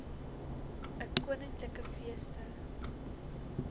ii koninklike feeste